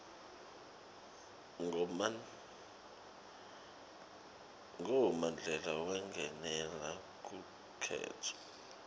ngo mandela wangenela lukhetfo